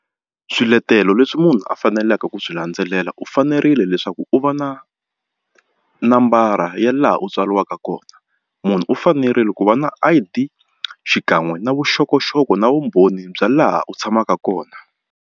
Swiletelo leswi munhu a faneleke ku swi landzelela u fanerile leswaku u va na nambara ya laha u tswariwaka kona munhu u fanerile ku va na I_D xikan'we na vuxokoxoko na vumbhoni bya laha u tshamaka kona.